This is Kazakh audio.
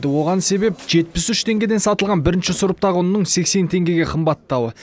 оған себеп жетпіс үш теңгеден сатылған бірінші сұрыптағы ұнның сексен теңгеге қымбаттауы